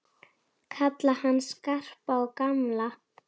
Kalla hann Skarpa og gamla!